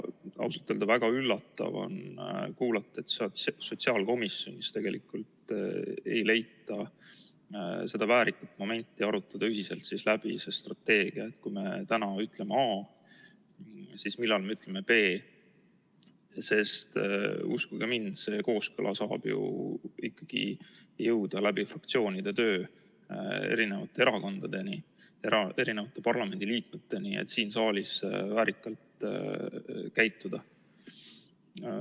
Ausalt öelda, väga üllatav on kuulata, et sotsiaalkomisjonis tegelikult ei leita seda väärikat momenti arutada ühiselt läbi see strateegia, et kui me täna ütleme A, siis millal me ütleme B. Sest uskuge mind, see kooskõla saab ju ikkagi jõuda läbi fraktsioonide töö erinevate erakondadeni, erinevate parlamendiliikmeteni, et siin saalis väärikalt käituda.